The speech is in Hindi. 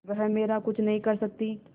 वह मेरा कुछ नहीं कर सकती